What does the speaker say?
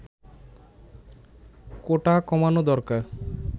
কোটা কমানো দরকার